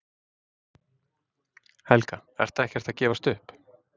Helga: Ertu ekkert að gefast upp?